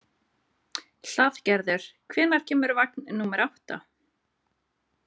Hlaðgerður, hvenær kemur vagn númer átta?